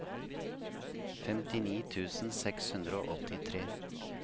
femtini tusen seks hundre og åttitre